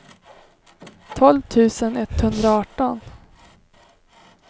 tolv tusen etthundraarton